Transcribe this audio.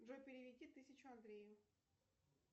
джой переведи тысячу андрею